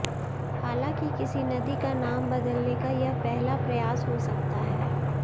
हालांकि किसी नदी का नाम बदलने का यह पहला प्रयास हो सकता है